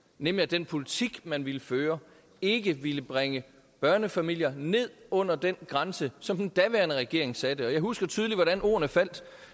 nemlig at den politik man ville føre ikke ville bringe børnefamilier ned under den grænse som den daværende regering satte og jeg husker tydeligt hvordan ordene faldt